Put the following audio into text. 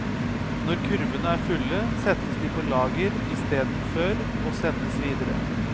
Når kurvene er fulle, settes de på lager i steden før å sendes videre.